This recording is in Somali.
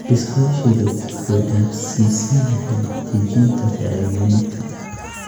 Iskaashigu wuxuu dhaafsiisan yahay dejinta faragelinta.